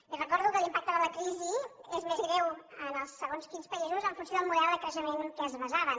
li recordo que l’impacte de la crisi és més greu en segons quins països en funció del model de creixement en què es basaven